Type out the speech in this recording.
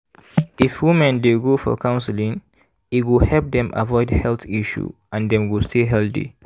if women dey go counseling e go help dem avoid heath issue and dem go stay healthy.